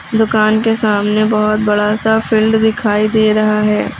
दुकान के सामने बहुत बड़ा सा फील्ड दिखाई दे रहा है।